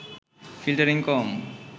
filtering কম